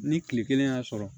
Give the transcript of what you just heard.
Ni kile kelen y'a sɔrɔ